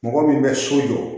Mɔgɔ min bɛ so jɔ